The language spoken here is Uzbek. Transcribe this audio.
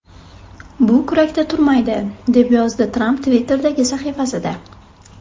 Bu kurakda turmaydi”, deb yozdi Tramp Twitter’dagi sahifasida.